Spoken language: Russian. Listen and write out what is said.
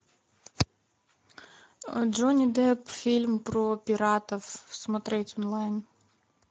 джонни депп фильм про пиратов смотреть онлайн